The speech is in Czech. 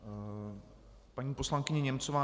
Paní poslankyně Němcová.